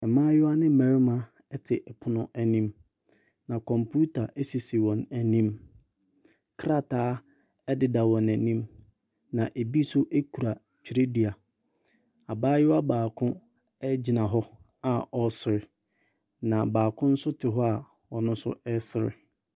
Mmaayewa ne mmarima te pono anim, na kɔmputa sisi wɔn anim. Krataa deda wɔn anim, na ɛbi nso kura twerɛdua. Abaayewa baako gyina hɔ a ɔresere. Na baako nso te hɔ a ɔno nso resere.